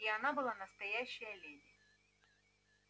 и она была настоящая леди